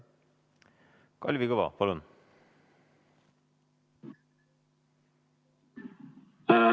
Kalvi Kõva, palun!